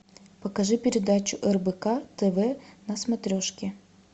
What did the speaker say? покажи передачу рбк тв на смотрежке